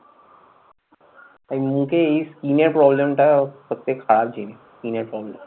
এই মুখে এই skin এর problem টা সবচেয়ে খারাপ জিনিস, skin এর জন্য।